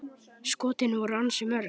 Skotin voru ansi mörg.